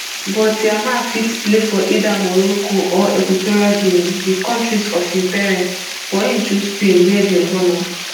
but yamal fit play for either morocco or equatorial guinea di kontris of im parents but im choose spain wia dem born am